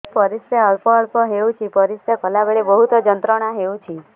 ପରିଶ୍ରା ଅଳ୍ପ ଅଳ୍ପ ହେଉଛି ପରିଶ୍ରା କଲା ବେଳେ ବହୁତ ଯନ୍ତ୍ରଣା ହେଉଛି